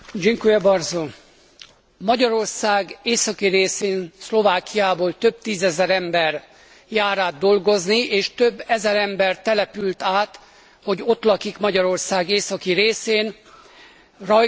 Magyarország északi részén, Szlovákiából több tízezer ember jár át dolgozni és több ezer ember települt át, hogy ott lakik Magyarország északi részén Rajka és más településeken.